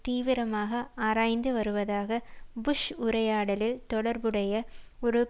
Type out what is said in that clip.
தீவிரமாக ஆராய்ந்து வருவதாக புஷ் உரையாடலில் தொடர்புடைய ஒரு